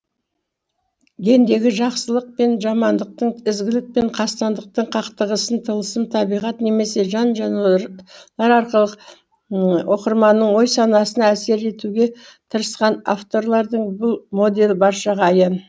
гендегі жақсылық пен жамандықтың ізгілік пен қастандықтың қақтығысын тылсым табиғат немесе жан жануарлар арқылы оқырманның ой санасына әсер етуге тырысқан авторлардың бұл моделі баршаға аян